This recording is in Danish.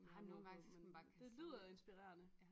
Har mod på men det lyder inspirerende